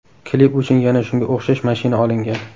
Klip uchun yana shunga o‘xshash mashina olingan.